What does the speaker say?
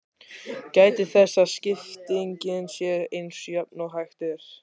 Gætið þess að skiptingin sé eins jöfn og hægt er.